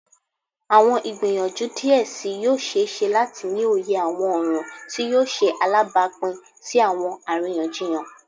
Awọn igbiyanju diẹ sii yoo ṣee ṣe lati ni oye awọn ọran ti yoo ṣe alabapin si awọn ariyanjiyan.